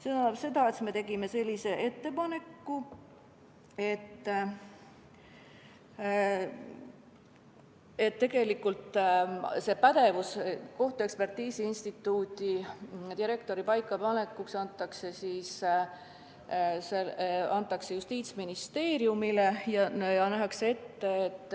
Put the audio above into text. See tähendab seda, et me tegime ettepaneku, et kohtuekspertiisi instituudi direktori paikapaneku ülesanne antaks Justiitsministeeriumile ja nähtaks ette, et